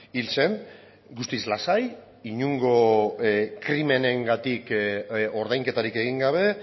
hil zen guztiz lasai inongo krimenengatik ordainketarik egin gabe